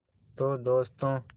तो दोस्तों